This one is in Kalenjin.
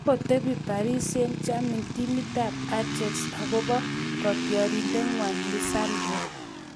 Kokotebee Paris St-Germain timitab Ajax akobo kotiorindeng'wa Lisandro